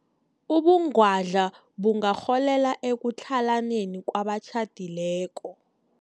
Ubungwadla bungarholela ekutlhalaneni kwabatjhadileko.